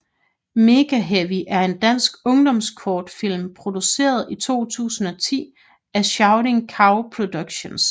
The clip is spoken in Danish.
Megaheavy er en dansk ungdomskortfilm produceret i 2010 af Shouting Cow Productions